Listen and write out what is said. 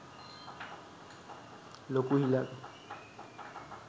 ලොකු හිලක්.